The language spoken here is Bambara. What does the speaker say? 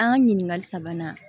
An ka ɲininkali sabanan